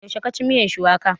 Yaushe ka ci miyan shuwaka?